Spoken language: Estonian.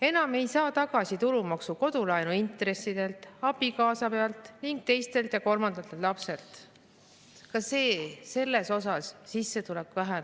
Enam ei saa tulumaksu tagasi kodulaenu intressidelt, abikaasa eest ning teise ja kolmanda lapse pealt – ka selles sissetulek väheneb.